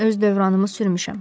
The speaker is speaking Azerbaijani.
Mən öz dövranımı sürmüşəm.